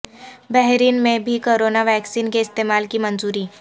بحرین میں بھی corona vaccine کے استعمال کی منظوری